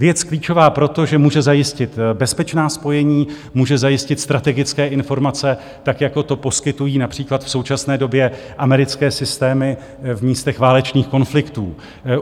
Věc klíčová proto, že může zajistit bezpečná spojení, může zajistit strategické informace, tak jako to poskytují například v současné době americké systémy v místech válečných konfliktů.